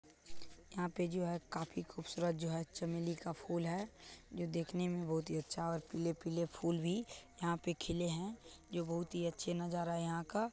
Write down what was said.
यहाँ पे जो है काफी खूबसूरत जो है चमेली का फूल है जो देखने में बहुत ही अच्छा और पीले- पीले फूल भी यहाँ पे खिले हैं जो बहुत ही अच्छे नज़ारा यहाँ का ।